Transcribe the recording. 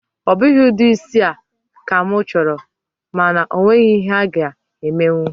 Ọ bụghị ụdị isi a ka mụ chọrọ, mana o nweghị ihe a-ga emenwu